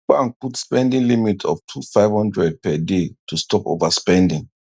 bank put spending limit of 2500 per day to stop overspending